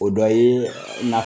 O dɔ ye